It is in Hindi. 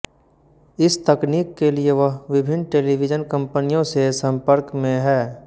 इस तकनीक के लिए वह विभिन्न टेलीविजन कंपनियों से संपर्क में है